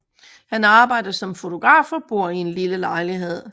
Han arbejder som en fotograf og bor i en lille lejlighed